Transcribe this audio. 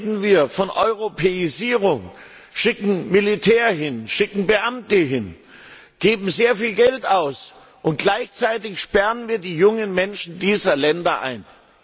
Heute reden wir von Europäisierung, schicken Militär und Beamte hin, geben sehr viel Geld aus, und gleichzeitig sperren wir die jungen Menschen dieser Länder ein.